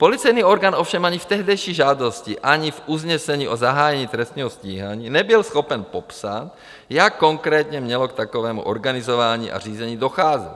Policejní orgán ovšem ani v tehdejší žádosti, ani v usnesení o zahájení trestního stíhání nebyl schopen popsat, jak konkrétně mělo k takovému organizování a řízení docházet.